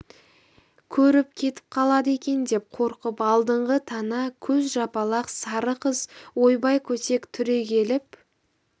көріп кетіп қалады екен деп қорқып алдыңғы тана көз жапалақ сары қыз ойбай көтек түрегеліп